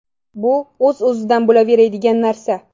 Bu o‘z-o‘zidan bo‘laveradigan narsa.